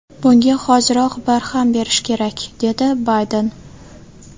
Bunga hoziroq barham berish kerak”, dedi Bayden.